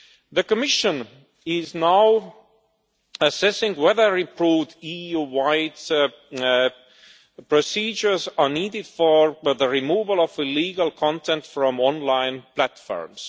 The Commission is now assessing whether improved EU wide procedures are needed for the removal of illegal content from online platforms.